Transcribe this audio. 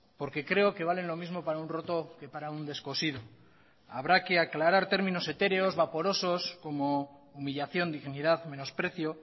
porque creo que valen lo mismo para un roto que para un descosido habrá que aclarar términos etéreos vaporosos como humillación dignidad menosprecio